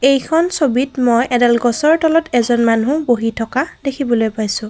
এইখন ছবিত মই এডাল গছৰ তলত এজন মানুহ বহি থকা দেখিবলৈ পাইছোঁ।